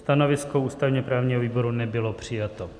Stanovisko ústavně-právního výboru nebylo přijato.